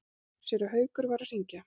Séra Haukur var að hringja.